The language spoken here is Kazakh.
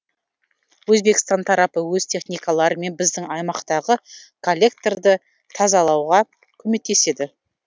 өзбекстан тарапы өз техникаларымен біздің аймақтағы коллекторды тазалауға көмектеседі